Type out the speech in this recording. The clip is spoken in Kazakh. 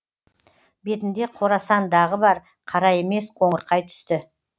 бетінде қорасан дағы бар қара емес қоңырқай түсті